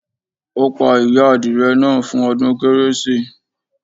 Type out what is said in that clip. Ó pa ìyá adìrẹ náà fún ọdún Kérésì